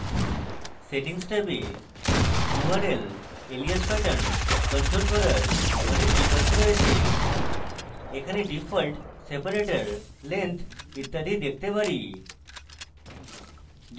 settings ট্যাবে url alias pattern control করার অনেক বিকল্প রয়েছে এখানে ডিফল্ট separator length ইত্যাদি দেখতে there